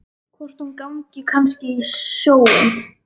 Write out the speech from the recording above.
Hvort hún gangi kannski í sjóinn.